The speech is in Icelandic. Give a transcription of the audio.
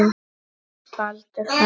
Baldur frændi.